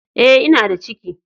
Eh, n'na da ciki!!